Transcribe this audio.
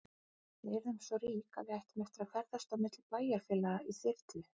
Við yrðum svo rík að við ættum eftir að ferðast á milli bæjarfélaga í þyrlu.